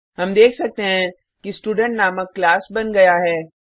हम देख सकते हैं कि स्टूडेंट नामक क्लास बन गया है